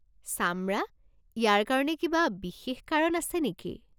চামৰা? ইয়াৰ কাৰণে কিবা বিশেষ কাৰণ আছে নেকি?